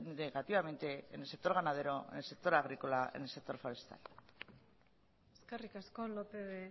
negativamente en el sector ganadero en el sector agrícola y en el sector forestal eskerrik asko lópez de